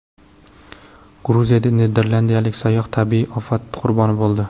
Gruziyada niderlandiyalik sayyoh tabiiy ofat qurboni bo‘ldi.